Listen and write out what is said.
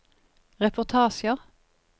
reportasjer